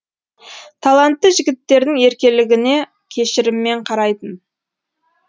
талантты жігіттердің еркелігіне кешіріммен қарайтын